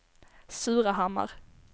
Surahammar